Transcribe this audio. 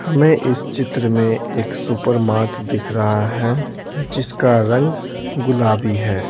हमें इस चित्र में एक सुपरमार्ट दिख रहा है जिसका रंग गुलाबी है।